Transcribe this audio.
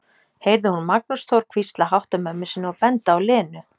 heyrði hún Magnús Þór hvísla hátt að mömmu sinni og benda á Lenu.